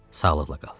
Sağlıqla qal.